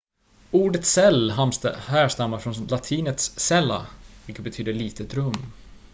ordet cell härstammar från latinets cella vilket betyder litet rum